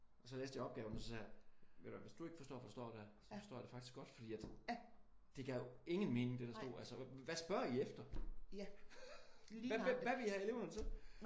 Så læste jeg opgaven og så sagde jeg ved du hvad hvis du ikke forstår det så forstår jeg det faktisk godt fordi at det gav jo ingen mening det der stod. Altså hvad spørger I efter? Hvad vil I have eleverne til?